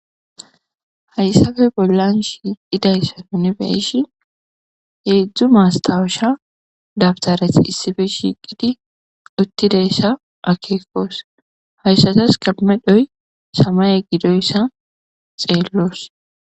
Hayisappe bollan shiqidaysappe nu be'ishin hezhzhu mastawusha daptarati issipe shiqidi utidayisa akekos. Hayisataska medhoy samaye gidoysa xelos.